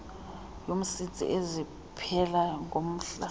yomsintsi eziphela ngomhla